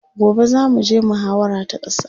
gobe zamu je muhawara ta ƙasa